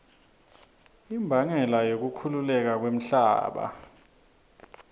imbangela yekukhukhuleka kwemhlaba